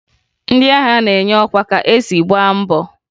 Ndị agha na-enye ọkwa ka e si gbaa mbọ